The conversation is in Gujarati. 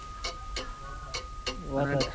વાત હાચી સ